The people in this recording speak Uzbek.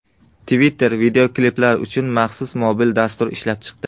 Twitter videokliplar uchun maxsus mobil dastur ishlab chiqdi.